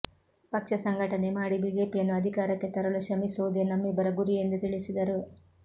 ಪಕ್ಷ ಸಂಘಟನೆ ಮಾಡಿ ಬಿಜೆಪಿಯನ್ನು ಅಧಿಕಾರಕ್ಕೆ ತರಲು ಶ್ರಮಿಸುವುದೇ ನಮ್ಮಿಬ್ಬರ ಗುರಿ ಎಂದು ತಿಳಿಸಿದರು